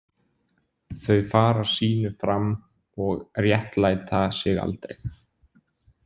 Þau fara sínu fram og réttlæta sig aldrei.